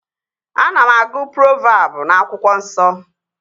Ana m agụ provabụ n'akwụkwọ nsọ